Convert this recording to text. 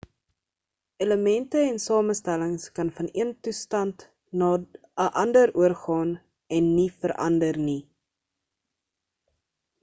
elemente en samestellings kan van een toestand na 'n ander oorgaan en nie verander nie